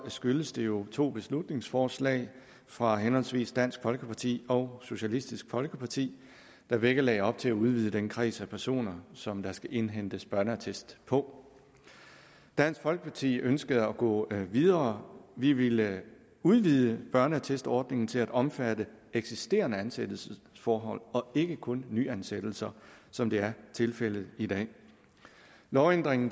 skyldes det jo to beslutningsforslag fra henholdsvis dansk folkeparti og socialistisk folkeparti der begge lagde op til at udvide den kreds af personer som der skal indhentes børneattest på dansk folkeparti ønskede at gå videre vi ville udvide børneattestordningen til at omfatte eksisterende ansættelsesforhold og ikke kun nyansættelser som det er tilfældet i dag lovændringen